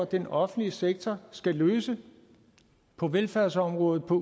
den offentlige sektor skal løse på velfærdsområdet på